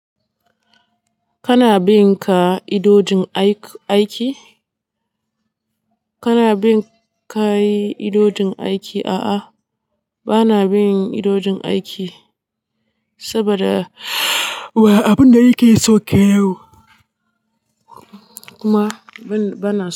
Kana bin ka idojin aiki? Kana bin ka yi idodin aiki? A'a, ba na bin idodin aiki saboda wa abinda yake so kayan kuma ba, ba na.